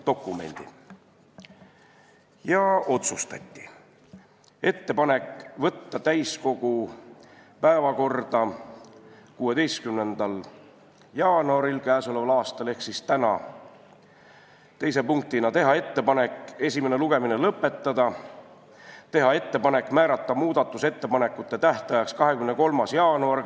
Komisjon otsustas teha ettepaneku võtta eelnõu täiskogu 16. jaanuari ehk siis tänase istungi päevakorda, teiseks teha ettepaneku esimene lugemine lõpetada ja määrata muudatusettepanekute tähtajaks 23. jaanuari.